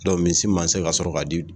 misi ma se ka sɔrɔ ka di